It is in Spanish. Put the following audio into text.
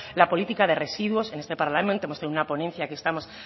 la política de residuos en este parlamento hemos tenido una ponencia que estamos